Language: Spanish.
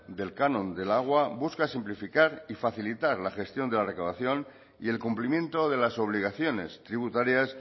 del canon del agua busca simplificar y facilitar la gestión de la recaudación y el cumplimiento de las obligaciones tributarias